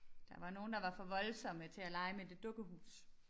Der var nogle der var for voldsomme til at lege med det dukkehus